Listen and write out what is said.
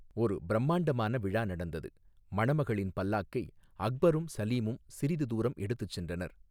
ஒரு பிரம்மாண்டமான விழா நடந்தது, மணமகளின் பல்லாக்கை அக்பரும் சலீமும் சிறிது தூரம் எடுத்துச் சென்றனர்.